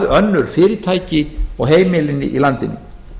önnur fyrirtæki og heimilin í landinu